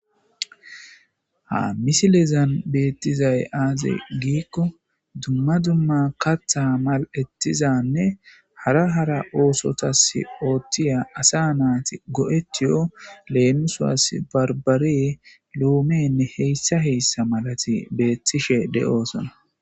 ha misilezan beettizay aaze giikko dumma dumma katha mal7ettizanne hara hara oosotas ooththiya asa naati go7ettiyo leemiswas barbaree loomenne heyssa heyssa malati beettishe de7osona